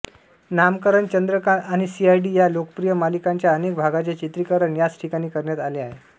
नामकरण चंद्रकांत आणि सीआयडी या लोकप्रिय मालिकांच्या अनेक भागांचे चित्रीकरण याच ठिकाणी करण्यात आले आहे